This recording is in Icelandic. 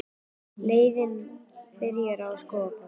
Leiðin byrjar við Skógafoss.